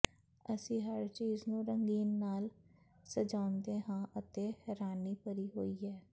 ਅਸੀਂ ਹਰ ਚੀਜ਼ ਨੂੰ ਰੰਗੀਨ ਨਾਲ ਸਜਾਉਂਦੇ ਹਾਂ ਅਤੇ ਹੈਰਾਨੀ ਭਰੀ ਹੋਈ ਹੈ